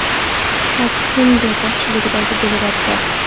Pak Chunbe boshchiligidagi delegatsiya.